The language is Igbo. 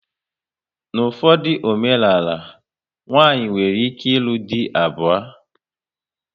N'ufodu omenala, nwanyị nwere ike ilu dị abuo